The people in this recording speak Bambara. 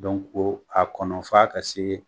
o a kɔnɔ f'a ka se